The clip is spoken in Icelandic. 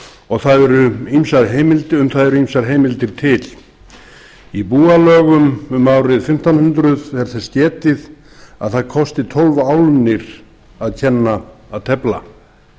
fyrr á öldum og um það eru ýmsar heimildir í búalögum um árið fimmtán hundruð er þess getið að það kosti tólf álnir að kenna að tefla